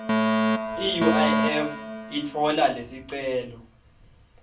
iuif itfola lesicelo